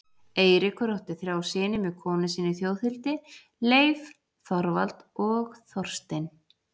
Eiríkur átti þrjá syni með konu sinni Þjóðhildi, Leif, Þorvald og Þorstein.